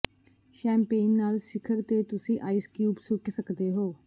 champagne ਨਾਲ ਸਿਖਰ ਤੇ ਤੁਸੀਂ ਆਈਸ ਕਿਊਬ ਸੁੱਟ ਸਕਦੇ ਹੋ